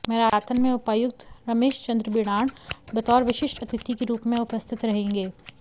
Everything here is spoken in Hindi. मैराथन में उपायुक्त रमेश चंद्र बिढ़ाण बतौर विशिष्ट अतिथि के रूप में उपस्थित रहेंगे